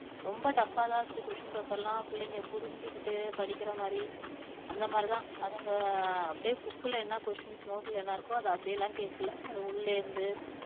ரொம்ப tough தான் இருந்துச்சு question paper எல்லாம் பிள்ளைங்க புரிஞ்சுகிட்டு படிக்கிற மாதிரி அந்த மாதிரி தான் அப்படியே book ல என்ன questions note ல என்ன இருக்கோ அதை அப்படி எல்லாம் கேட்கலை அது உள்ளே இருந்து